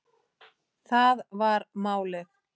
Það var málið.